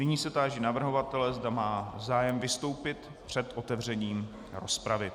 Nyní se táži navrhovatele, zda má zájem vystoupit před otevřením rozpravy.